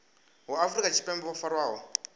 vha afrika tshipembe vho farwaho